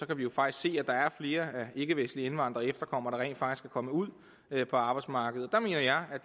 kan vi jo faktisk se at der er flere ikkevestlige indvandrere og efterkommere der rent faktisk er kommet ud på arbejdsmarkedet der mener jeg at